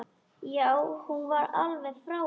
Já, hún var alveg frábær!